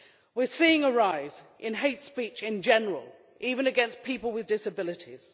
We are seeing a rise in hate speech in general, even against people with disabilities.